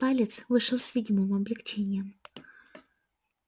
палец вышел с видимым облегчением